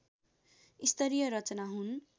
स्तरीय रचना हुन्